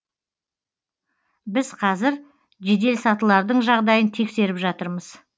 біз қазір жеделсатылардың жағдайын тексеріп жатырмыз